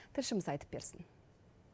тілшіміз айтып берсін